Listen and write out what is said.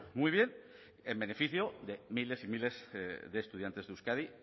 muy bien en beneficio de miles y miles de estudiantes de euskadi